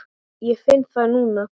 Ég finn það núna.